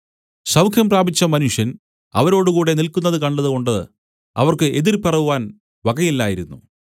സൗഖ്യം പ്രാപിച്ച മനുഷ്യൻ അവരോടുകൂടെ നില്ക്കുന്നതു കണ്ടതുകൊണ്ട് അവർക്ക് എതിർ പറവാൻ വകയില്ലായിരുന്നു